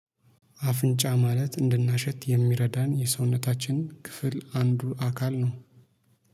አፍንጫ ማለት እንድናሸት የሚረዳን የሰውነታችን ክፍል አንዱ አካል ነው።